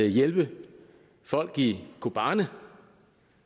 hjælpe folk i kobani